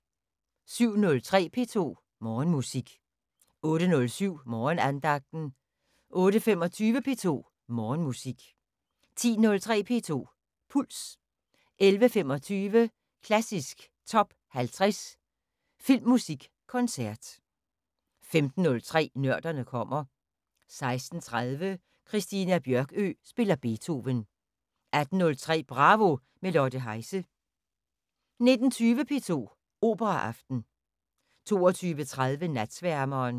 07:03: P2 Morgenmusik 08:07: Morgenandagten 08:25: P2 Morgenmusik 10:03: P2 Puls 11:25: Klassisk Top 50 Filmmusikkoncert 15:03: Nørderne kommer 16:30: Christina Bjørkøe spiller Beethoven 18:03: Bravo – med Lotte Heise 19:20: P2 Operaaften 22:30: Natsværmeren